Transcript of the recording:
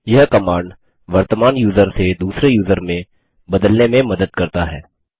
यह कमांड वर्तमान यूज़र से दूसरे यूज़र में बदलने में मदद करता है